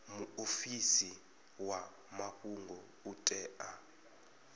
muofisi wa mafhungo u tea